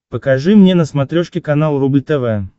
покажи мне на смотрешке канал рубль тв